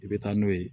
I bɛ taa n'o ye